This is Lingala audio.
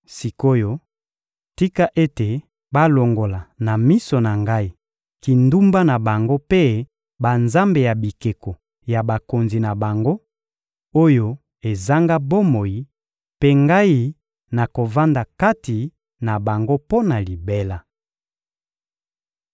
Sik’oyo, tika ete balongola na miso na Ngai kindumba na bango mpe banzambe ya bikeko ya bakonzi na bango, oyo ezanga bomoi, mpe Ngai nakovanda kati na bango mpo na libela.